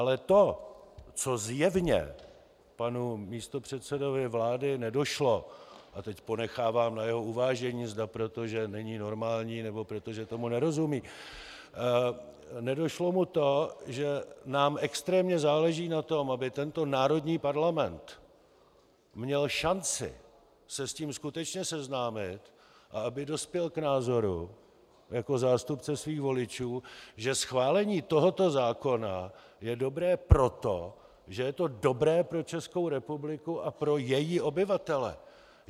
Ale to, co zjevně panu místopředsedovi vlády nedošlo, a teď ponechávám na jeho uvážení, zda proto, že není normální, nebo proto, že tomu nerozumí - nedošlo mu to, že nám extrémně záleží na tom, aby tento národní parlament měl šanci se s tím skutečně seznámit a aby dospěl k názoru jako zástupce svých voličů, že schválení tohoto zákona je dobré proto, že je to dobré pro Českou republiku a pro její obyvatele.